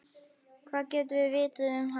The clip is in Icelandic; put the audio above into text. Hvað getum við vitað um hann?